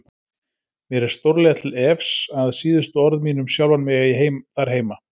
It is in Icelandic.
Mér er stórlega til efs að síðustu orð mín um sjálfan mig eigi þar heima.